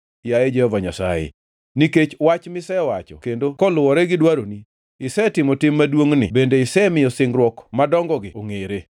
yaye Jehova Nyasaye. Nikech wach misewacho kendo koluwore gi dwaroni, isetimo tim maduongʼni bende isemiyo singruok madongogi ongʼere.